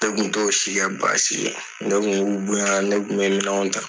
Ne kun t'o si kɛ baasi ye . Ne kun ke u bonya ne kun bɛ minɛnw ta